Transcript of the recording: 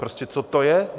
Prostě co to je?